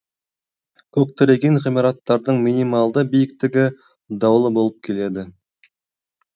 көктіреген ғимараттардың минималды биіктігі даулы болып келеді